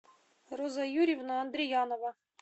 роза юрьевна андриянова